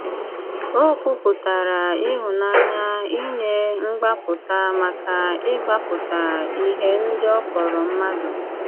Ó kwùpùtàrà ìhụ̀nànyà ìnye mgbàpùtà màkà ịgbàpùtà íhè ndị ọ kpọrọ mmàdụ̀.